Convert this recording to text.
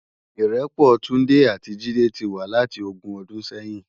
Irèpò Tunde ati Jide ti wá láti ógùn òdún sèyin